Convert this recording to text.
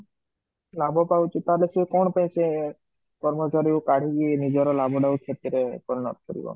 ଲାଭ ପାଉଛି ତାହେଲେ ସେ କଣ ପାଇଁ ସେ କର୍ମଚାରୀ କୁ କାଢି କି ନିଜର ଲାଭଟାକୁ କ୍ଷତିରେ ପରିଣତ କରିବ